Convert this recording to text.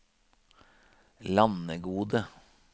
Landegode